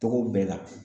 Togo bɛɛ la